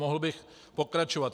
Mohl bych pokračovat.